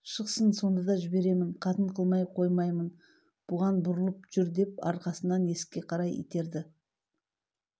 шықсын сонда да жіберемін қатын қылмай қоймаймын бұған бұрылып жүр деп арқасынан есікке қарай итерді